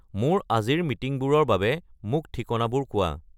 মোৰ আজিৰ মিটিংবোৰৰ বাবে মোক ঠিকনাবোৰ কোৱা